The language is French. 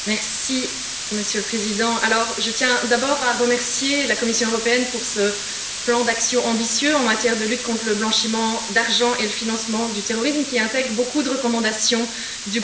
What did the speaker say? Monsieur le Président, je tiens d'abord à remercier la Commission européenne pour ce plan d'action ambitieux en matière de lutte contre le blanchiment d'argent et le financement du terrorisme, qui intègre beaucoup de recommandations du groupe des Verts.